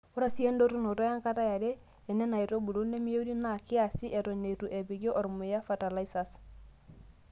Ore sii endotunoto enkata yare enena aitubulu nemeyieuni naa kiaasi Eton eitu epiki ormuya fatalaisas.